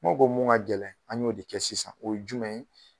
Komi aw ko mun ka gɛlɛn an y'o de kɛ sisan o ye jumɛn ye.